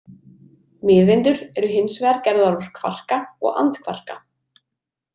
Miðeindir eru hins vegar gerðar úr kvarka og andkvarka.